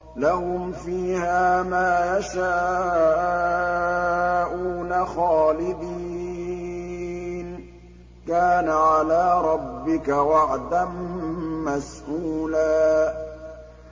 لَّهُمْ فِيهَا مَا يَشَاءُونَ خَالِدِينَ ۚ كَانَ عَلَىٰ رَبِّكَ وَعْدًا مَّسْئُولًا